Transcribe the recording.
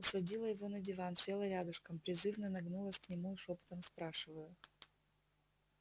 усадила его на диван села рядышком призывно нагнулась к нему и шёпотом спрашиваю